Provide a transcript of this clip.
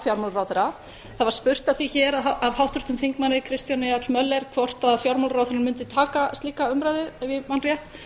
fjármálaráðherra það var spurt að því hér af háttvirtum þingmanni kristjáni l möller hvort fjármálaráðherra mundi taka slíka umræðu ef ég man rétt